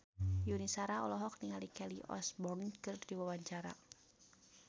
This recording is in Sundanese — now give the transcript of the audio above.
Yuni Shara olohok ningali Kelly Osbourne keur diwawancara